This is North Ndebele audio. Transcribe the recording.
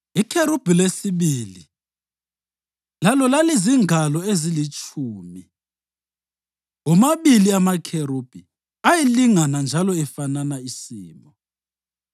Ikherubhi lesibili lalo lalizingalo ezilitshumi, womabili amakherubhi ayelingana njalo efanana isimo.